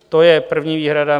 To je první výhrada.